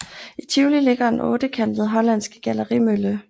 I Tivoli ligger den ottekantede hollandske gallerimølle